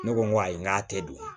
Ne ko n ko ayi n k'a tɛ dun